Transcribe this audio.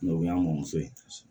o y'anso ye